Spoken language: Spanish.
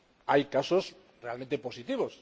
Hay casos realmente positivos